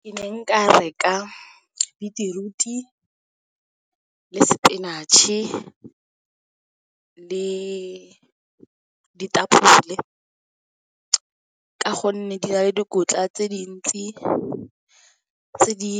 Ke ne nka reka beetroot-e le spinach-e le ditapole le ka gonne di na le dikotla tse dintsi tse di